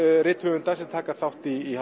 rithöfunda taka þátt í